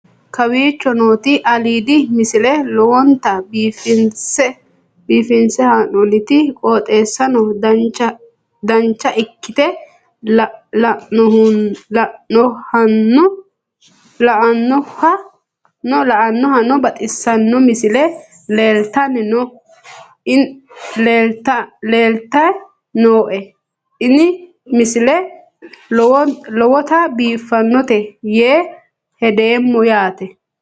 kowicho nooti aliidi misile lowonta biifinse haa'noonniti qooxeessano dancha ikkite la'annohano baxissanno misile leeltanni nooe ini misile lowonta biifffinnote yee hedeemmo yaate